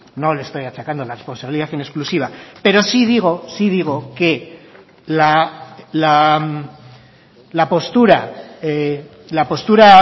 no le estoy achacando la responsabilidad en exclusiva pero sí digo sí digo que la postura la postura